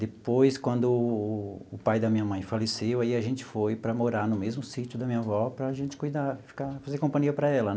Depois, quando o pai da minha mãe faleceu, e aí a gente foi para morar no mesmo sítio da minha avó para a gente cuidar, ficar fazer companhia para ela né.